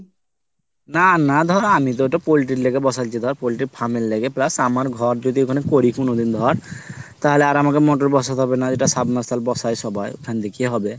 না না আমি তো ধর poultry এর লাইগা বসাইছি ধর plus আমার ঘর যদি ওখানে করি কুনদিন ধর তাহলে আর আমাকে মটর বসাতে হবেনা যেটা সাম্বারসেল বাসায় সবাই ওখান থেকেই হবে।